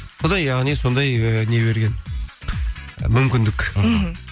құдай яғни сондай ы не берген мүмкіндік мхм